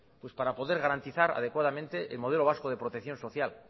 pues para poder garantizar adecuadamente el modelo vasco de protección social